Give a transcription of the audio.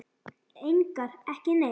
Engar, ekki neitt!